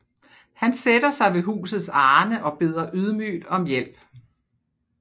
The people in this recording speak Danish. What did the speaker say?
Han sætter sig ved husets arne og beder ydmygt om hjælp